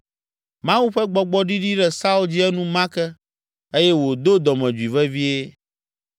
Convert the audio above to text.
Mawu ƒe Gbɔgbɔ ɖiɖi ɖe Saul dzi enumake eye wòdo dɔmedzoe vevie.